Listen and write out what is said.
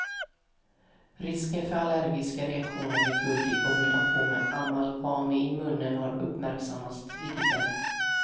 Risken för allergiska reaktioner vid guld i kombination med amalgam i munnen har uppmärksammats tidigare.